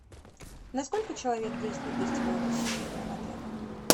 на сколько человек действует гостевое посещение в отеле